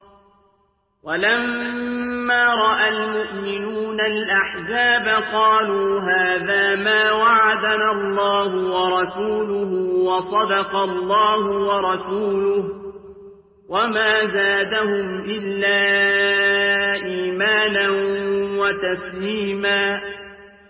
وَلَمَّا رَأَى الْمُؤْمِنُونَ الْأَحْزَابَ قَالُوا هَٰذَا مَا وَعَدَنَا اللَّهُ وَرَسُولُهُ وَصَدَقَ اللَّهُ وَرَسُولُهُ ۚ وَمَا زَادَهُمْ إِلَّا إِيمَانًا وَتَسْلِيمًا